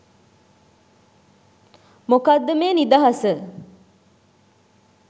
මොකද්ද මේ නිදහස